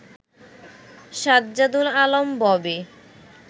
Sajjadul Alam Bobby